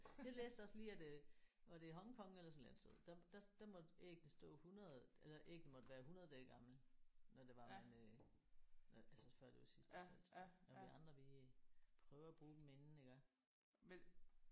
Jeg læste også lige at øh var det i Hong Kong eller sådan et eller andet sted der der der måtte æggene stå 100 eller æggene måtte være 100 dage gammel når det var man øh altså før det var sidste salgsdag og vi andre vi prøver at bruge dem inden iggå